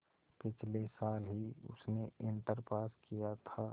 पिछले साल ही उसने इंटर पास किया था